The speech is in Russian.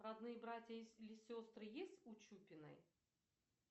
родные братья или сестры есть у чупиной